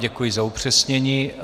Děkuji za upřesnění.